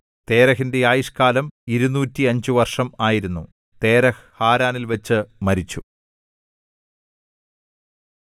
തേരഹിന്റെ ആയുഷ്കാലം ഇരുനൂറ്റിയഞ്ച് വർഷം ആയിരുന്നു തേരഹ് ഹാരാനിൽവച്ചു മരിച്ചു